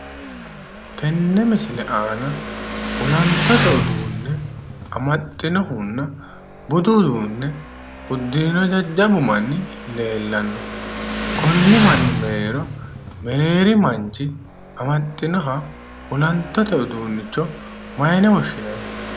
Tenne misile aana olantote uduunne amaxxinohunna budu uduunne uddirino jajjabbu manni leellanno. Konni manni mereero mereeri manchi amaxxinoha olantote uduunnicho mayine woshshinanni?